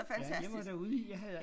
Ja jeg var derude i jeg havde